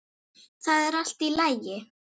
ÞAÐ ER ALLT Í LAGI!